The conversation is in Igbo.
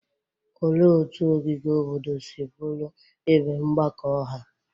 Olee otú ogige obodo si bụrụ ebe mgbakọ ọha?